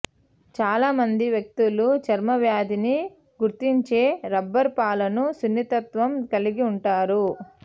చాలామంది వ్యక్తులు చర్మవ్యాధిని గుర్తించే రబ్బరు పాలును సున్నితత్వం కలిగి ఉంటారు